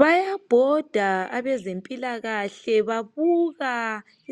Bayabhoda abezempilakahle babuka